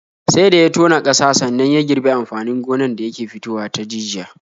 Sai da ya tona ƙasa sannan ya girbi amfanin gonan da yake fitowa ta jijiya.